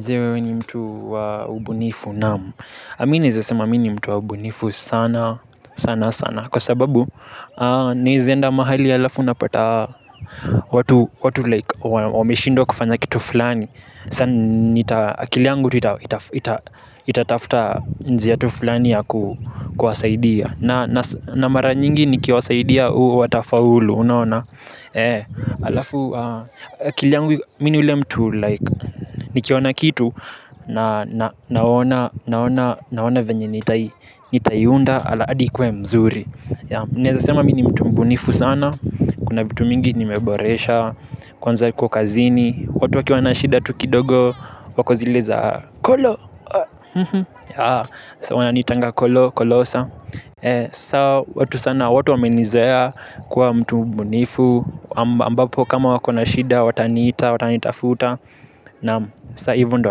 Je, wewe ni mtu wa ubunifu? Naam. Mi naweza sema mi ni mtu wa ubunifu sana sana sana. Kwasababu naweza enda mahali alafu unapata watu 'like' wameshindwa kufanya kitu fulani. Sa akili yangu tu itatafta njia tu fulani ya kuwasaidia. Na mara nyingi nikiwasaidia u watafaulu unaona. Alafu akili yangu mi ni yule mtu 'like' nikiona kitu, naona naona venye nitaiunda hadi ikuwe mzuri. Naweza sema mi ni mtu mbunifu sana. Kuna vitu mingi nimeboresha, kwanza iko kazini watu wakiwa na shida tu kidogo wako zile za Kolo. Wananitanga Kolosa, sa watu sana watu wamenizoea kuwa mtu mbunifu ambapo kama wako na shida wataniita, watanitafuta. Naam, saa hivo ndo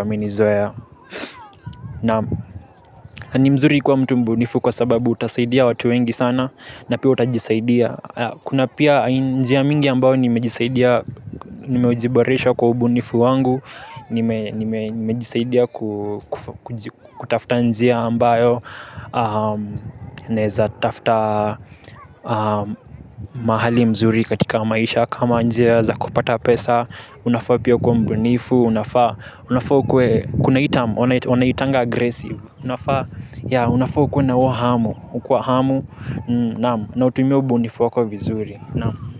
wamenizoea. Na ni mzuri kwa mtu mbunifu kwasababu utasaidia watu wengi sana. Na pia utajisaidia. Kuna pia njia mingi ambayo nimejisaidia, nimejiboresha kwa ubunifu wangu. Nimejisaidia kutafta njia ambayo naweza tafuta mahali mzuri katika maisha. Kama njia za kupata pesa. Unafaa pia kwa mbunifu, unafaa, unafaa ukuwe kuna hii 'term' wanaitanga 'aggresive'. Unafaa, yaa, unafaa ukuwe na huo hamu. Ukwa hamu, naam. Na utumie ubunifu wako vizuri. Naam.